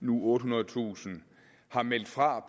nu ottehundredetusind har meldt fra